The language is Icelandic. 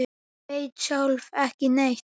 Ég veit sjálf ekki neitt.